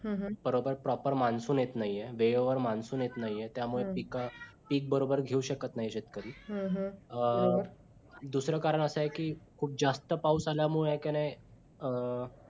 हम्म हम्म proper monsoon येत नाही आहे. वेळेवर मान्सून येत नाही आहे त्यामुळे पीक पीक बरोबर घेऊ शकतं नाही शेतकरी दुसरं कारण असं आहे की खुप जास्त पाऊस आल्यामुळे मुळे आहे कि नाही